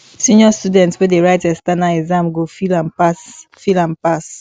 senior students wey dey write external exam go feel am pass feel am pass